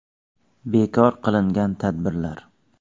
❌ Bekor qilingan tadbirlar: ?